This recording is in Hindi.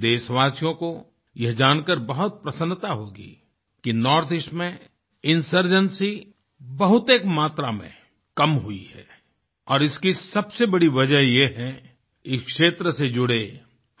देशवासियों को यह जानकर बहुत प्रसन्ता होगी कि नॉर्थईस्ट में इंसर्जेंसी बहुतएक मात्रा में कम हुई है और इसकी सबसे बड़ी वजह यह है कि इस क्षेत्र से जुड़े